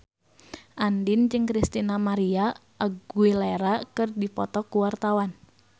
Andien jeung Christina María Aguilera keur dipoto ku wartawan